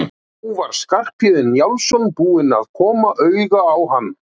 Og nú var Skarphéðinn Njálsson búinn að koma auga á hann.